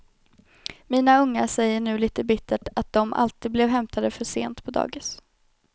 Mina ungar säger nu lite bittert att dom alltid blev hämtade för sent på dagis.